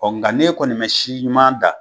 Ɔ nga ne kɔni ma si ɲuman da